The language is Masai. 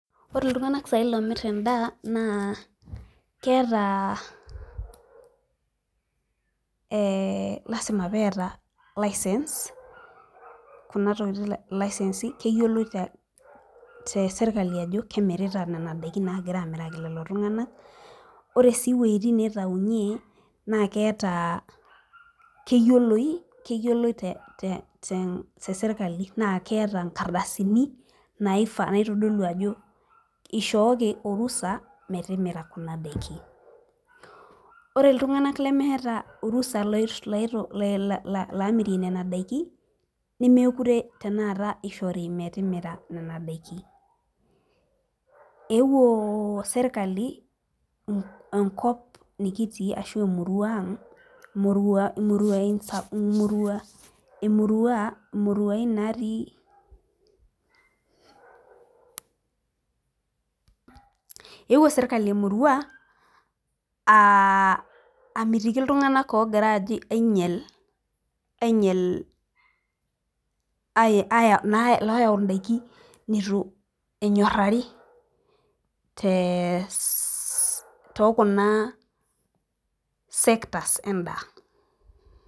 Ore iltung'anak saai loomir endaa naa keetaa ee lazima peeta license kuna tokitin licensi keyioloi te te serkali ajo kemirita nena daikin naagira amiraki lelo tung'anak. Ore sii iwueitin niitaunye naake eeta keyioloi keyioloi te te te serkali naa keeta inkardasini naifa naitodolu ajo ishooki orusa metimira kuna daikin. Ore iltung'anak lemeeta orusa loi la laamirie nena daikin nemekure tenakata ishori metimira nena daiki. Eewuo serkali en enkop nikitii ashu emurua aang' murua muruai sa murua emurua imuruain natii. Eewou serkali emurua aa amitiki iltung'anak oogira aajo ainyel aiyel ai ai na looyau indaiki nitu enyorari te too kuna sectors endaa.